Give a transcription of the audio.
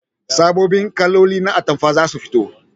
Sabon kaloli na atamfa zasu fito